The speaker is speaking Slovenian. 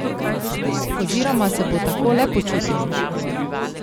Oziroma se bo tako le počutil?